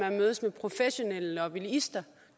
at mødes med professionelle lobbyister